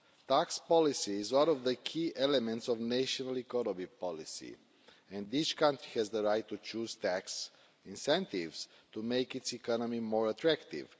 Tax policy is one of the key elements of national economy policy and each country has the right to choose tax incentives to make its economy more attractive.